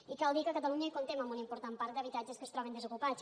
i cal dir que a catalunya comptem amb un important parc d’habitatges que es troben desocupats